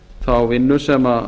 þá vinnu sem